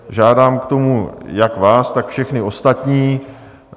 Žádám o to jak vás, tak všechny ostatní.